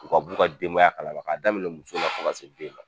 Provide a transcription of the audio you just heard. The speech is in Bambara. U ka b'u ka denbaya kalama, k'a daminɛ muso la fo ka se den ma